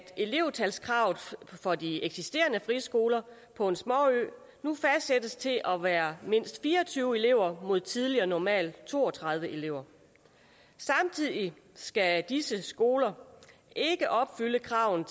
elevtalskravet for de eksisterende frie skoler på en småø nu fastsættes til at være mindst fire og tyve elever mod tidligere normalt to og tredive elever samtidig skal disse skoler ikke opfylde kravene